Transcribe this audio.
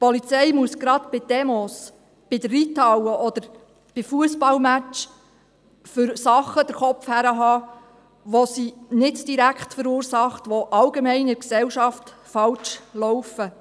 Die Polizei muss gerade bei Demos, bei der Reithalle oder bei Fussballmatches für Dinge den Kopf herhalten, die sie nicht direkt verursacht, die in der Gesellschaft allgemein falsch laufen.